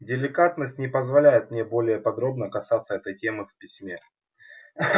деликатность не позволяет мне более подробно касаться этой темы в письме